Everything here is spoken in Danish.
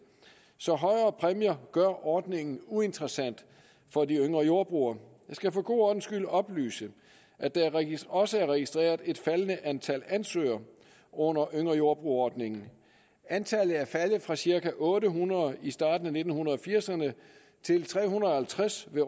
så højere præmier gør ordningen uinteressant for de yngre jordbrugere jeg skal for god ordens skyld oplyse at der også er registreret et faldende antal ansøgere under yngre jordbruger ordningen antallet er faldet fra cirka otte hundrede i starten af nitten firserne til tre hundrede og halvtreds ved